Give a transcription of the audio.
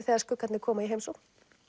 þegar skuggarnir koma í heimsókn